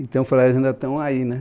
Então, falei, eles ainda estão aí, né?